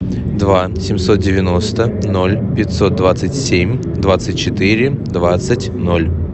два семьсот девяносто ноль пятьсот двадцать семь двадцать четыре двадцать ноль